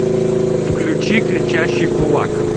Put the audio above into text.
включи кричащий кулак